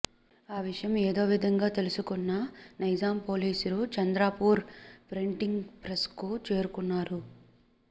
ఆ విషయం ఏదోవిధంగా తెలుసు కున్న నైజాం పోలీసులు చంద్రపూర్ ప్రింటింగ్ ప్రెస్కు చేరుకున్నారు